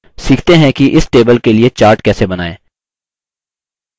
सीखते हैं कि इस table के लिए chart कैसे बनाएँ